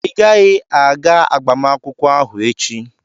ị gaghị aga agbamakwụkwọ ahụ echi!